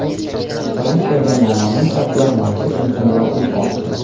Fransiyada noma’lum shaxslar masjid yaqinida o‘t ochdi.